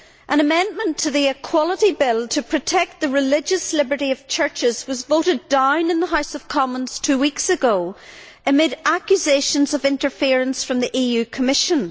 An amendment to the Equality Bill to protect the religious liberty of churches was voted down in the House of Commons two weeks ago, amid accusations of interference from the EU Commission.